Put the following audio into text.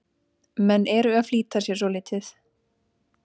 Menn eru að flýta sér svolítið.